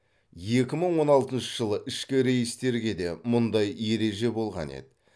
екі мың он алтыншы жылы ішкі рейстерге де мұндай ереже болған еді